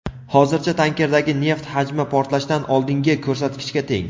hozircha tankerdagi neft hajmi portlashdan oldingi ko‘rsatkichga teng.